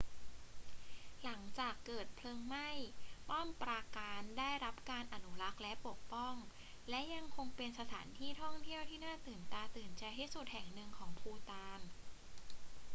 หลังจากเกิดเพลิงไหม้ ป้อมปราการได้รับการอนุรักษ์และปกป้อง และยังคงเป็นสถานที่ท่องเที่ยวที่น่าตื่นตาตื่นใจที่สุดแห่งหนึ่งของภูฏาน